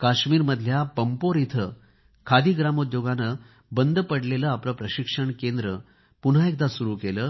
काश्मीरमधल्या पंपोर इथे खादी आणि ग्रामोद्योगने बंद पडलेले आपले प्रशिक्षण केंद्र पुन्हा एकदा सुरू केले